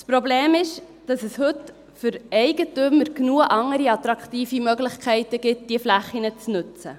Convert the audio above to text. Das Problem ist, dass es heute für Eigentümer genügend andere attraktive Möglichkeiten gibt, diese Flächen zu nutzen.